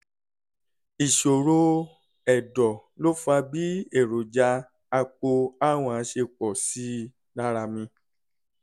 ìṣòro ẹ̀dọ̀ ló fa bí èròjà apo a1 ṣe pọ̀ sí i lára mi